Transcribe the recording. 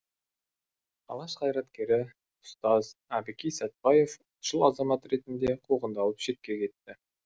алаш қайраткері ұстаз әбікей сәтбаев ұлтшыл азамат ретінде қуғандалып шетке кетті